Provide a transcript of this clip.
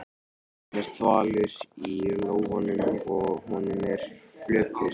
Hann er þvalur í lófunum og honum er flökurt.